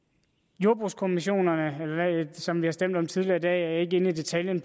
jordbrugskommissionerne som vi har stemt om tidligere i dag er jeg ikke inde i detaljen